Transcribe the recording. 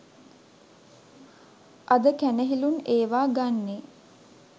අද කැනහිලුන් ඒවා ගන්නේ